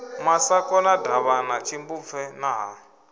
masakona davhana tshimbupfe na ha